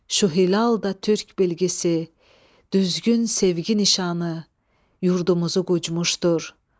Şu hilal da türk bilgisi, düzgün sevgi nişanı yurdumuzu qucmuşdur.